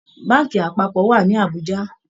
Báànkì apápọ̀ wà ní Àbújá